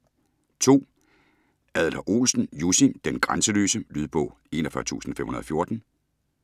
Adler-Olsen, Jussi: Den grænseløse Lydbog 41514